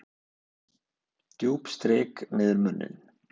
Djúp strik niður með munninum.